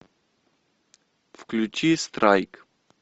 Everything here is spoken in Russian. включи страйк